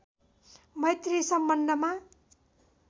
मैत्री सम्बन्धमा